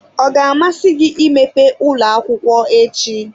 Ọ ga-amasị gị imepe ụlọ akwụkwọ echi?